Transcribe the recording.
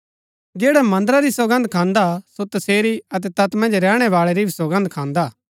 जैडा मन्दरा री सौगन्द खान्दा सो तसेरी अतै तैत मन्ज रैहणै बाळै री भी सौगन्द खान्दा